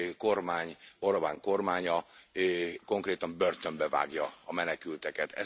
kormány, Orbán kormánya, konkrétan börtönbe vágja a menekülteket.